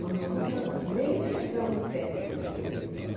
Mas nós nunca, nem chegamos perto desse refeitório.